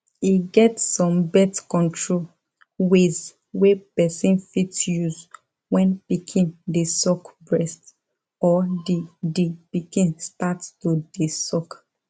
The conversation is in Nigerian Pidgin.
e get some birth control ways wey person fit use when pikin de suck breast or the the pikin start to de suck